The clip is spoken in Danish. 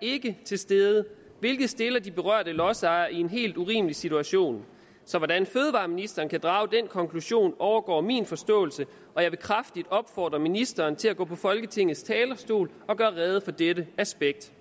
ikke er til stede hvilket stiller de berørte lodsejere i en helt urimelig situation så hvordan fødevareministeren kan drage den konklusion overgår min forståelse og jeg vil kraftigt opfordre ministeren til at gå på folketingets talerstol og gøre rede for dette aspekt